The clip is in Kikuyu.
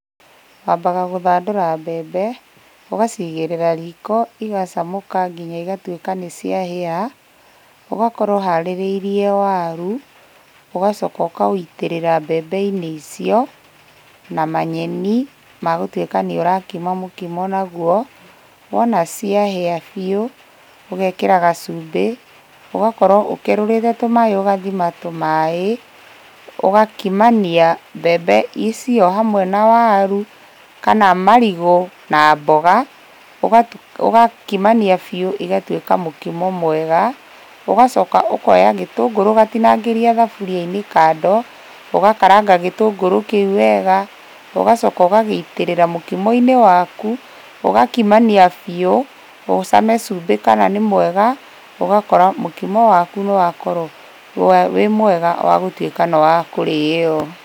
Wambaga gũthandũra mbembe, ũgacigĩrĩra riko igacamũka nginya igatuĩka nĩciahĩa. Ũgakorwo ũharĩrĩirie waru, ũgacoka ũkawĩitĩrĩra mbembe-inĩ icio, na manyeni magũtuĩka nĩũrakima mũkimo naguo, wona ciahĩa biũ, ũgekĩra gacumbĩ, ũgakorwo ũkerũrĩte tũmaĩ ũgathima tũmaĩ, ũgakimania mbembe icio hamwe na waru kana marigũ na mboga, ũgakimania biũ ũgatuĩka mũkima mwega. Ũgacoka ũkoya gĩtũngũrũ ũgatinangĩria thaburia-inĩ kando, ũgakaranga gĩtũngũrũ kĩu wega na ũgacoka ũgagĩitĩrĩra mũkimo-inĩ waku, ũgakimania biũ, ũcame cumbĩ kana nĩ mwega, ũgakora mũkimo waku nĩwakorwo wĩ mwega wagũtuĩka nĩwakũrĩo.